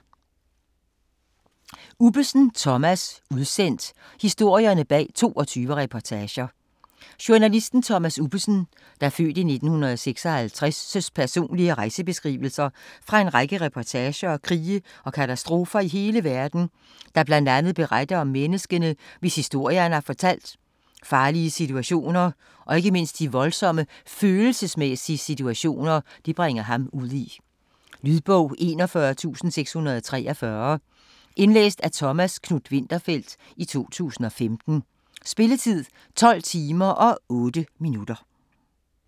Ubbesen, Thomas: Udsendt: historierne bag 22 reportager Journalisten Thomas Ubbesens (f. 1956) personlige rejsebeskrivelser fra en række reportager fra krige og katastrofer i hele verden, der bl.a. beretter om menneskene, hvis historie han har fortalt, farlige situationer og ikke mindst om de voldsomme følelsesmæssige situationer, det bringer ham ud i. Lydbog 41643 Indlæst af Thomas Knuth-Winterfeldt, 2015. Spilletid: 12 timer, 8 minutter.